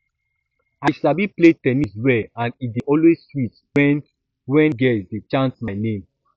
i sabi play ten nis well and e dey always sweet me wen wen girls dey chant my name